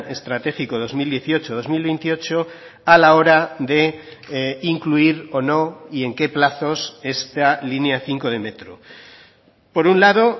estratégico dos mil dieciocho dos mil veintiocho a la hora de incluir o no y en qué plazos esta línea cinco de metro por un lado